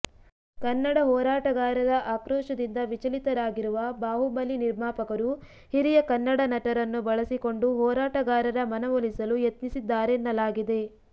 ಕನ್ನಡ ಹೋರಾಟಗಾರರ ಆಕ್ರೋಶದಿಂದ ವಿಚಲಿತರಾಗಿರುವ ಬಾಹುಬಲಿ ನಿರ್ಮಾಪಕರು ಹಿರಿಯ ಕನ್ನಡ ನಟರನ್ನು ಬಳಸಿಕೊಂಡು ಹೋರಾಟಗಾರರ ಮನವೊಲಿಸಲು ಯತ್ನಿಸಿದ್ದಾರೆನ್ನಲಾಗಿದೆ